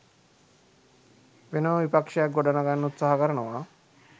වෙනම විපක්ෂයක් ගොඩනගන්න උත්සාහ කරනවා